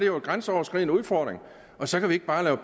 jo en grænseoverskridende udfordring og så kan vi ikke bare